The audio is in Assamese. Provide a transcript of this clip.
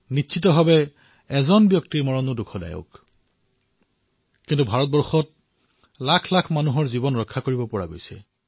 নিশ্চিত ৰূপত এজনো ব্যক্তিৰ মৃত্যু হোৱাটো অতিশয় দুখৰ কথা কিন্তু ভাৰতে নিজৰ লক্ষাধিক নাগৰিকৰ জীৱন ৰক্ষা কৰাতো সফল হৈছে